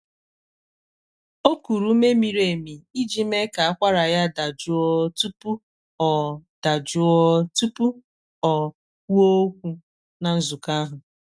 o kuru ume miri emi iji mee ka akwara ya dajụọ tupu ọ dajụọ tupu ọ kwuo okwu na nzukọ ahụ.